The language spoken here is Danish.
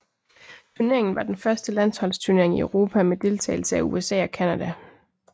Turneringen var den første landsholdsturnering i Europa med deltagelse af USA og Canada